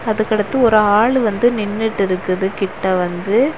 அதுக்கு அடுத்து ஒரு ஆளு வந்து நின்னுட்டு இருக்குது கிட்ட வந்து.